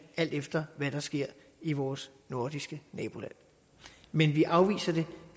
alt efter hvad der sker i vores nordiske naboland men vi afviser det